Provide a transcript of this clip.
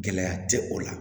Gɛlɛya tɛ o la